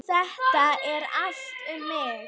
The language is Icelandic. Þetta er allt um mig!